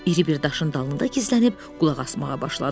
İri bir daşın dalında gizlənib qulaq asmağa başladı.